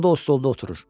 O da o stolda oturur.